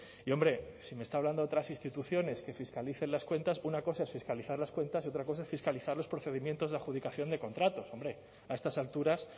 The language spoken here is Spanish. y hombre si me está hablando de otras instituciones que fiscalicen las cuentas una cosa es fiscalizar las cuentas y otra cosa es fiscalizar los procedimientos de adjudicación de contratos hombre a estas alturas